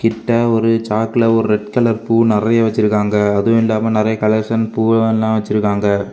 கிட்ட ஒரு சாக்குல ஒரு ரெட் கலர் பூ நெறைய வெச்சிருக்காங்க அதுவு இல்லாம நெறைய கலர்ஸ் அண்டு பூவலெல்லாம் வெச்சிருக்காங்க.